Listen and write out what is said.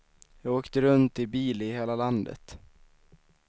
Jag åkte runt i bil i hela landet.